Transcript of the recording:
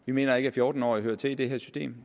vi mener ikke at fjorten årige hører til i det her system